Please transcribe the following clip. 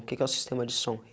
O que que é o sistema de som?